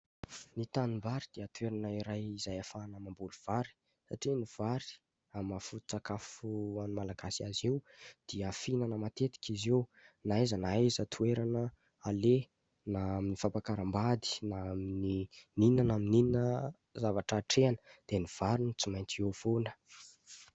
Ny tanimbary dia toerana iray izay ahafahana mamboly vary. Satria ny vary amin'ny maha-foto-tsakafo an'ny Malagasy azy io dia fihinana matetika izy io na aiza na aiza toerana aleha, na amin'ny fampakaram-bady, na amin'ny inona na amin'ny inona zavatra atrehana dia ny vary no tsy maintsy eo foana.